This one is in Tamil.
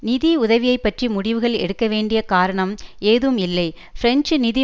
நிதி உதவியை பற்றி முடிவுகள் எடுக்க வேண்டிய காரணம் ஏதும் இல்லை பிரெஞ்சு நிதி